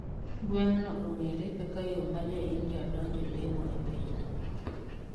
Gweng' no ong'ere kaka yoo ma joindia donjo lemo e piny no